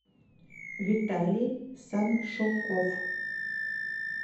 виталий саншуков